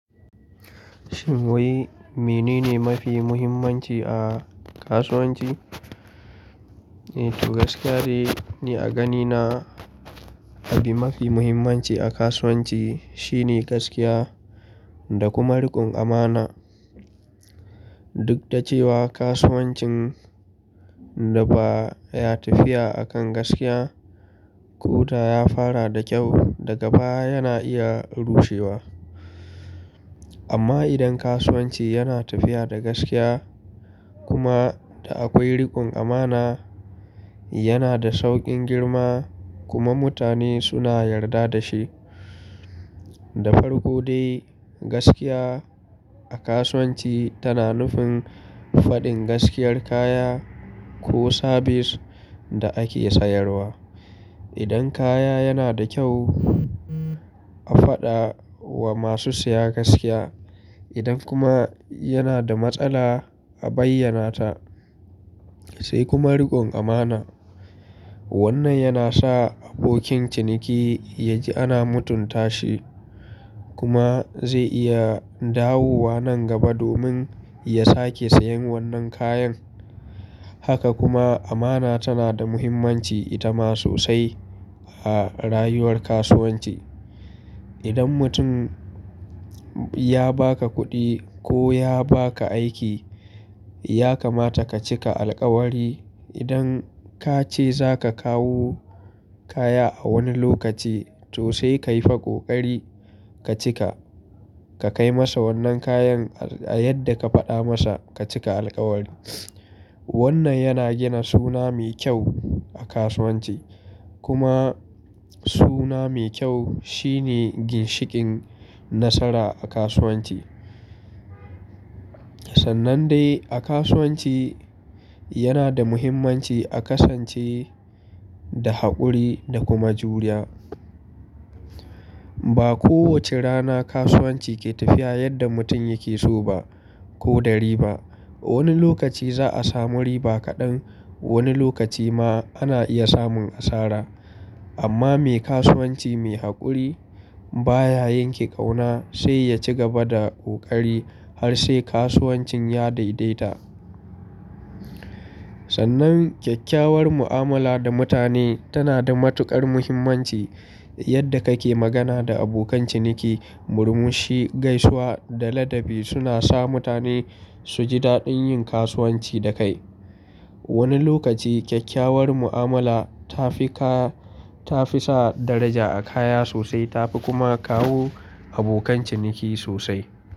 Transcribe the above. Shin wai mene ne mafi muhimmanci a kasuwanci? Eh, to gaskiyane ne a gani na. Abin mafi muhimmanci a kasuwanci shine gaskiya da kuma rikon amana. Duk da cewa kasuwancin da ba ya tafiya a kan gaskiya, ko da ya fara da kyau daga baya yana iya rushewa. Amma idan kasuwanci yana tafiya da gaskiya kuma da akwai rikon amana, yana da saukin girma kuma mutane suna yarda da shi. Da farko dai gaskiya a kasuwanci tana nufin faɗin gaskiyar kaya ko sabis da ake sayarwa. Idan kaya yana da kyau a faɗa wa masu siya gaskiya. Idan kuma yana da matsala a bayyana ta sai kuma rikon amana. Wannan yana sa abokin ciniki ya ji ana mutunta shi kuma zai iya dawowa nan gaba domin ya sake sayen wannan kayan. Haka kuma amana tana da muhimmanci itama sosai a rayuwar kasuwanci. Idan mutum ya baka kuɗi ko ya baka aiki, ya kamata ka cika alƙawari. Idan ka ce za ka kawo kaya a wani lokaci, to sai ka yi fa ƙoƙari ka cika. Ka kai masa wannan kayan a yadda ka faɗa masa ka cika alƙawari. Wannan yana gina suna mai kyau a kasuwanci. Kuma suna mai kyau shine ginshikin nasara a kasuwanci. Sannan dai a kasuwanci yana da muhimmanci a kasance da haƙuri da kuma juriya. Ba kowace rana kasuwanci ke tafiya yadda mutum yake so ba ko da riba. Wani lokaci za a samu riba kaɗan, wani lokaci ma ana iya samun asara. Amma me kasuwanci mai haƙuri baya yanke ƙauna sai ya ci gaba da kokari har sai kasuwancin ya daidaita. Sannan kyakkyawar mu'amala da mutane tana da matuƙar muhimmanci. Yadda kake magana da abokan ciniki, murmushi, gaisuwa da ladabi suna sa mutane su ji daɗin yin kasuwanci da kai. Wani lokaci kyakkyawar mu'amala ta fi ka, ta fi sa daraja a kaya sosai ta fi kuma kawo abokan ciniki sosai.